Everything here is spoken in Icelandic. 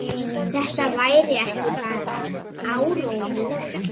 Þetta væri ekki bara áróður.